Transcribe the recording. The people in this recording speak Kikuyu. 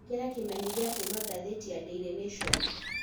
ĩkĩra kimenyithia kũma gathiti ya daily nation